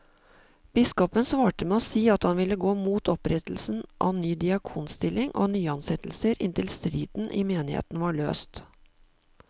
Biskopen svarte med å si at han ville gå mot opprettelse av ny diakonstilling og nyansettelser inntil striden i menigheten var løst.